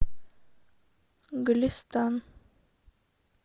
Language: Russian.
голестан